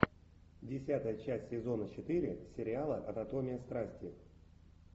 десятая часть сезона четыре сериала анатомия страсти